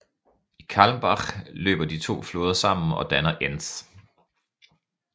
I Calmbach løber de to floder sammen og dannar Enz